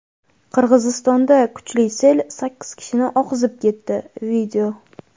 Qirg‘izistonda kuchli sel sakkiz kishini oqizib ketdi.